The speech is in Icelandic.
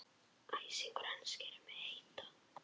Æsingur hans gerir mig heita.